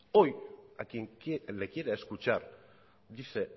hoy a quien le quiera escuchar dice